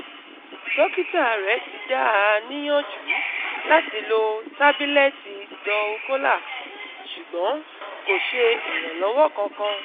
Dọ́kítà rẹ̀ ti dá a níyànjú láti lo tábìlẹ́tì dulcolax ṣùgbọ́n kò ṣe ìrànlọ́wọ́ kankan